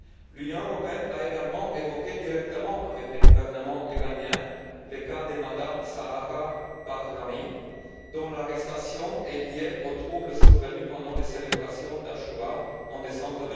L'Union européenne a également évoqué directement avec le gouvernement iranien le cas de Mme Zahra Bahrami, dont l'arrestation est liée aux troubles survenus pendant les célébrations de l'Achoura en décembre